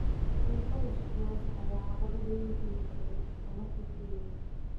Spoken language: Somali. Fadeexado musuqmaasuq ayaa caqabad weyn ku noqday horumarka Kenya.